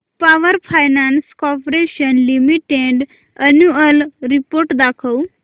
power finance corporation limited annual report दाखव